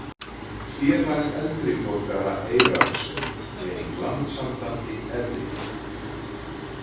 Félag eldri borgara Eyrarsveit er í Landssambandi eldri borgara